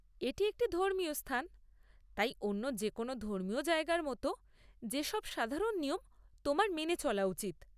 এটি একটি ধর্মীয় স্থান, তাই অন্য যে কোনও ধর্মীয় জায়গার মতো, যে সব সাধারণ নিয়ম তোমার মেনে চলা উচিৎ।